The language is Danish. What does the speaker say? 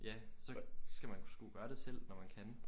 Ja så skal man sgu gøre det selv når man kan